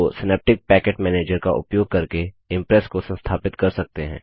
तो synaptic package manager का उपयोग करके इंप्रेस को संस्थापित कर सकते हैं